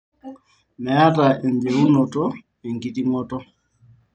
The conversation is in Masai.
meeta enjeunoto enkitingoto